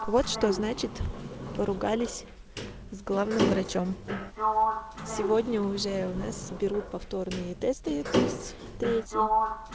вот что значит поругались с главным врачом сегодня уже у нас берут повторные тесты то есть третьи